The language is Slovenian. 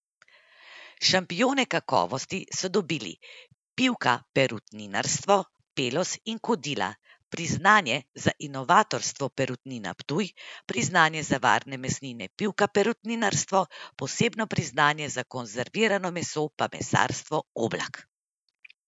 Šampione kakovosti so dobili Pivka Perutninarstvo, Peloz in Kodila, priznanje za inovatorstvo Perutnina Ptuj, priznanje za varne mesnine Pivka Perutninarstvo, posebno priznanje za konzervirano meso pa Mesarstvo Oblak.